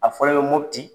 A fɔlɔ bɛ mopti